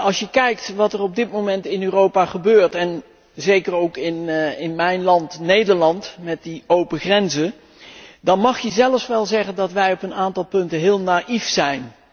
Als je kijkt wat er op dit moment in Europa gebeurt, en zeker ook in mijn land Nederland met die open grenzen, dan mag je zelfs wel zeggen dat wij op een aantal punten heel naïef zijn.